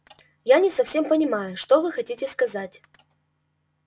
я не совсем понимаю что вы хотите сказать